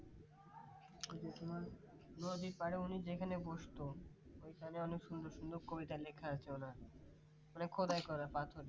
ওই যে তোমার নদীর পাড়ে উনি যেখানে বসত ওখানে অনেক সুন্দর সুন্দর কবিতা লেখা আছে ওনার। মানে খোদাই করা পাথরে